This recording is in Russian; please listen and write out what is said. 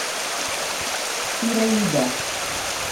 ираида